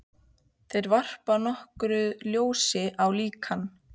Þeir varpa nokkru ljósi á líkan